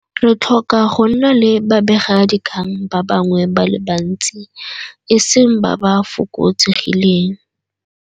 Re tlhoka go nna le babegadikgang ba bangwe ba le bantsi, e seng ba ba fokotsegileng.